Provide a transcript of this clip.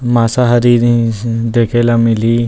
मासाहारी जी इ देखेला मिलही --